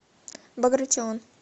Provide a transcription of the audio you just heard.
багратион